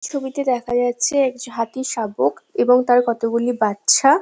ছবিতে দেখা যাচ্ছে এক জ হাতির শাবক এবং তার কতগুলি বাচ্ছা ।